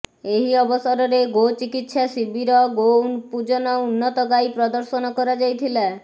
ଏହି ଅବସରରେ ଗୋ ଚିକିତ୍ସା ଶିବିର ଗୋ ପୂଜନ ଉନ୍ନତ ଗାଈ ପ୍ରଦର୍ଶନ କରାଯାଇଥିଲା